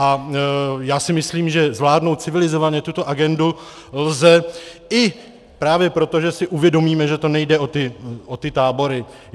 A já si myslím, že zvládnout civilizovaně tuto agendu lze i právě proto, že si uvědomíme, že to nejde o ty tábory.